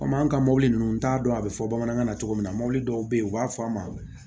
Komi an ka mɔbili ninnu t'a dɔn a bɛ fɔ bamanankan na cogo min na mɔbili dɔw bɛ yen u b'a fɔ a ma